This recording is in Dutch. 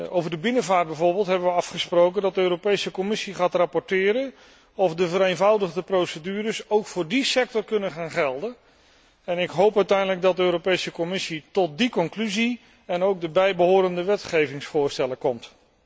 Over de binnenvaart bijvoorbeeld hebben we afgesproken dat de Europese Commissie gaat rapporteren over de vraag of de vereenvoudigde procedures ook voor die sector kunnen gaan gelden en ik hoop uiteindelijk dat de Europese Commissie tot die conclusie en ook de bijbehorende wetgevingsvoorstellen komt.